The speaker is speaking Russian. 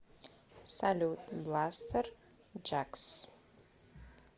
салют бластерджакс